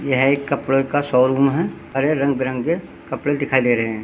यह एक कपडों का शोरूम है हरे रंग बिरंगे कपडे दिखाई दे रहे है।